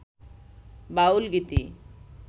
বাউল গীতি